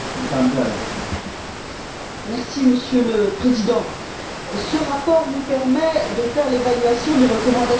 Monsieur le Président, ce rapport nous permet de faire l'évaluation des recommandations spécifiques de l'année